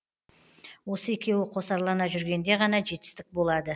осы екеуі қосарлана жүргенде ғана жетістік болады